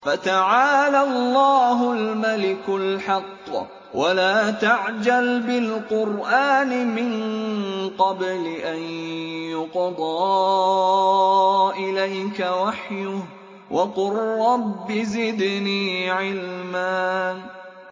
فَتَعَالَى اللَّهُ الْمَلِكُ الْحَقُّ ۗ وَلَا تَعْجَلْ بِالْقُرْآنِ مِن قَبْلِ أَن يُقْضَىٰ إِلَيْكَ وَحْيُهُ ۖ وَقُل رَّبِّ زِدْنِي عِلْمًا